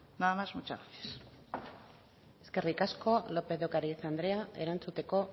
nada más muchas gracias eskerrik asko lópez de ocariz andrea erantzuteko